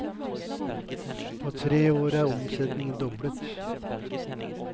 På tre år er omsetningen doblet.